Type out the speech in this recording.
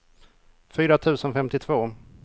fyra tusen femtiotvå